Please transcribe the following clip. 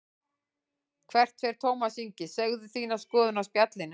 Hvert fer Tómas Ingi, segðu þína skoðun á Spjallinu